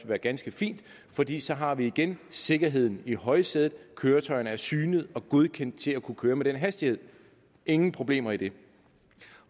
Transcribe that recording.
være ganske fint fordi så har vi igen sikkerheden i højsædet køretøjerne er synet og godkendt til at køre med den hastighed ingen problemer i det